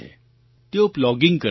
તેઓ પ્લોગિંગ કરે છે